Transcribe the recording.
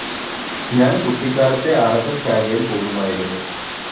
ഞാന്‍ കുട്ടിക്കാലത്തേ ആര്‍എസ്‌എസ്‌ ശാഖയില്‍ പോകുമായിരുന്നു